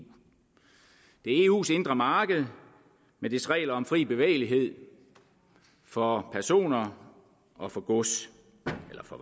det er eus indre marked med dets regler om fri bevægelighed for personer og for gods eller